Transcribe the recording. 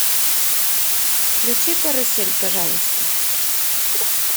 включи карусель пожалуйста